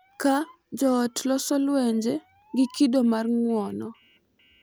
Ka joot loso gi lwenje gi kido mar ng’uono